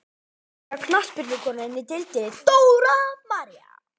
Fallegasta knattspyrnukonan í deildinni: Dóra María.